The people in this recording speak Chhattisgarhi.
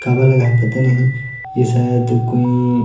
काबर लगा हे पता नहीं ये शायद कोई--